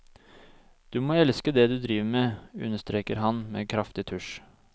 Du må elske det du driver med, understreker han med kraftig tusj.